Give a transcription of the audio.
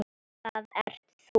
Það ert þú.